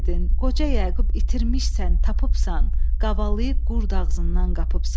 Qoca Yaqub itirmisən, tapıbsan, qavalayıb qurd ağzından qapıbsan.